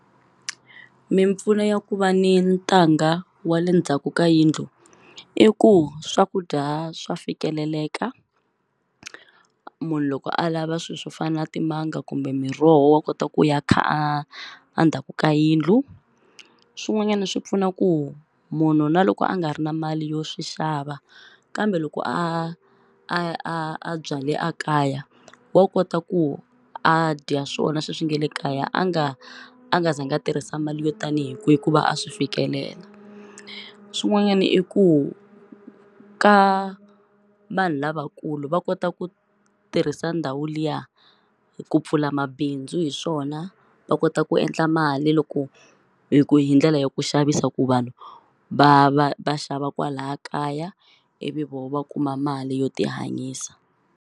Mimpfuno ya ku va ni ntanga wa le ndzhaku ka yindlu i ku swakudya swa fikeleleka munhu loko a lava swi swo fana timanga kumbe miroho wa kota ku ya kha a ndzhaku ka yindlu swin'wanyani swi pfuna ku munhu na loko a nga ri na mali yo swi xava kambe loko a a byale a kaya wa kota ku a dya swona sweswi nge le kaya a nga a nga za nga tirhisa mali yo tanihi kwihi ku va a swi fikelela swin'wanyani i ku ka vanhu lavakulu va kota ku tirhisa ndhawu liya ku pfula mabindzu hi swona va kota ku endla mali loko hi ku hi ndlela ya ku xavisa ku vanhu va va va xava kwalaya kaya ivi vo va kuma mali yo ti hanyisa.